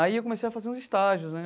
Aí eu comecei a fazer uns estágios né.